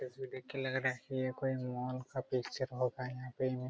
ये तस्वीर देख कर लग रहा है की ये कोई मॉल का पिक्चर होगा यहाँ पे --